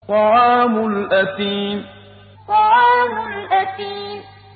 طَعَامُ الْأَثِيمِ طَعَامُ الْأَثِيمِ